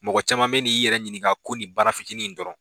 Mɔgɔ caman bɛ n'i yɛrɛ ɲininka ko nin baara fitinin in dɔrɔn.